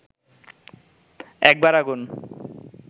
একবার আগুন